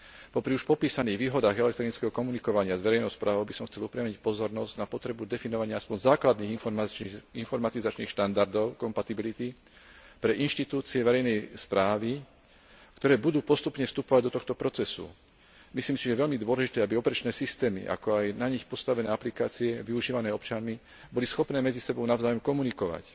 Popri už popísaných výhodách elektronického komunikovania s verejnou správou by som chcel upriamiť pozornosť na potrebu definovania aspoň základných informatizačných štandardov kompatibility pre inštitúcie verejnej správy, ktoré budú postupne vstupovať do tohto procesu. Myslím si, že je veľmi dôležité, aby operačné systémy, ako aj na nich postavené aplikácie využívané občanmi boli schopné medzi sebou navzájom komunikovať.